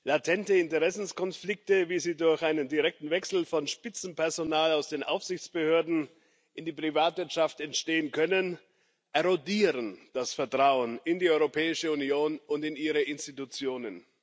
Latente Interessenkonflikte, wie sie durch einen direkten Wechsel von Spitzenpersonal aus den Aufsichtsbehörden in die Privatwirtschaft entstehen können, erodieren das Vertrauen in die Europäische Union und in ihre Institutionen.